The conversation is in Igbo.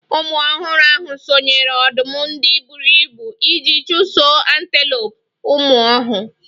Ụmụ ọhụrụ ahụ sonyeere ọdụm ndị buru ibu iji chụsoo antelopes. Ụmụ ọh